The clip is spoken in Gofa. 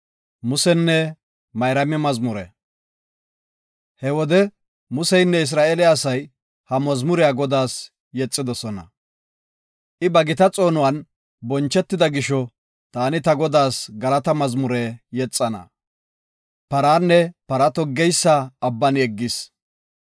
He wode Museynne Isra7eele asay ha mazmuriya Godaas yexidosona. I ba gita xoonuwan bonchetida gisho, taani ta Godaas galata mazmuriya yexana. Paranne para toggeysa Abban yeggis.